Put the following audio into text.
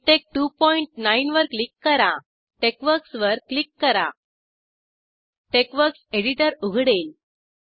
मिकटेक्स29 वर क्लिक करा टेक्सवर्क्स वर क्लिक करा टेक्सवर्क्स एडीटर उघडेल